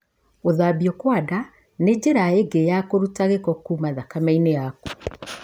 Gũthambio kwa nda nĩ njĩra ĩngĩ ya kũruta gĩko kuma thakame-inĩ yaku